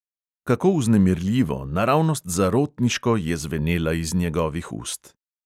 Kako vznemirljivo, naravnost zarotniško je zvenela iz njegovih ust.